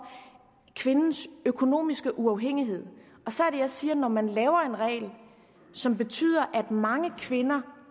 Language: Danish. kvindens økonomiske uafhængighed så er det jeg siger at når man laver en regel som betyder at mange kvinder